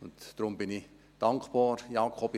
Deshalb bin ich dankbar, Jakob Etter;